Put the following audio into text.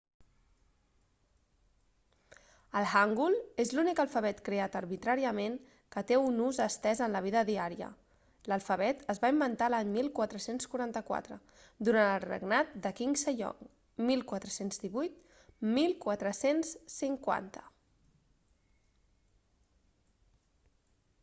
el hangul és l'únic alfabet creat arbitràriament que té un ús estès en la vida diària. l'alfabet es va inventar l'any 1444 durant el regnat de king sejong 14181450